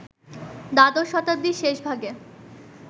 দ্বাদশ শতাব্দীর শেষ ভাগে